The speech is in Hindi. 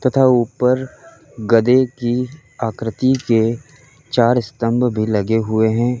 तथा ऊपर गदे की आकृति के चार स्तंभ भी लगे हुए हैं।